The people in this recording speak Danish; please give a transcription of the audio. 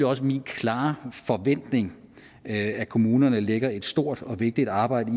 også min klare forventning at kommunerne lægger et stort og vigtigt arbejde